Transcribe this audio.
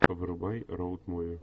врубай роуд муви